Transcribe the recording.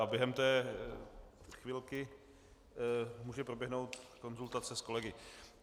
A během té chvilky může proběhnout konzultace s kolegy.